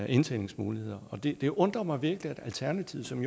indtjeningsmuligheder det det undrer mig virkelig at alternativet som